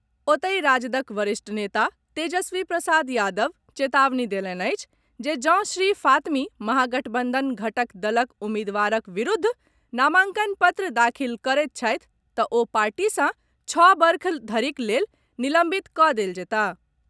ओतहि, राजदक वरिष्ठ नेता तेजस्वी प्रसाद यादव चेतावनी देलनि अछि जे जॅ श्री फातमी महागठबंधन घटक दलक उम्मीदवारक विरूद्ध नामांकन पत्र दाखिल करैत छथि तऽ ओ पार्टी सॅ छओ वर्ष धरिक लेल निलंबित कऽ देल जयताह।